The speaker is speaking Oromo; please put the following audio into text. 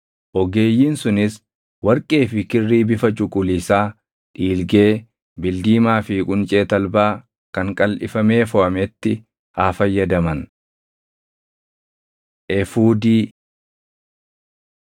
Ogeeyyiin sunis warqee fi kirrii bifa cuquliisaa, dhiilgee, bildiimaa fi quncee talbaa kan qalʼifamee foʼametti haa fayyadaman. Efuudii 28:6‑14 kwf – Bau 39:2‑7